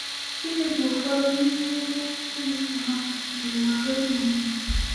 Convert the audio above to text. Gịnị bụ ụfọdụ n’ime ihe ịlụsọ ha ji were ndidi?